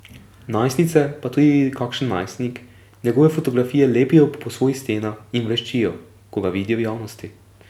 Najstnice, pa tudi kakšen najstnik, njegove fotografije lepijo po svojih stenah in vreščijo, ko ga vidijo v javnosti.